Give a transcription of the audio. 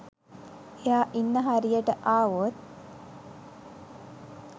එයා ඉන්න හරියට ආවොත්